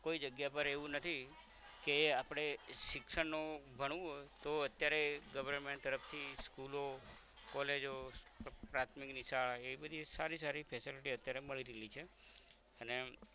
કોઈ જગ્યા પર એવું નથી કે આપરે શિક્ષણ નુ ભણવું તો અત્યારે government તરફ થી school ઓ college ઓ પ્રાથમિક ની શાળા એ બધી સારી સારી facility અત્યારે મળી રાઈલી છે અને